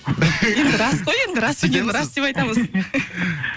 енді рас қой енді рас екенін рас деп айтамыз